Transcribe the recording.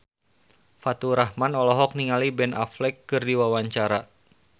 Faturrahman olohok ningali Ben Affleck keur diwawancara